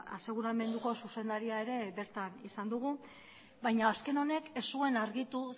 aseguramenduko zuzendaria ere bertan izan dugu baina azken honek ez zuen argitu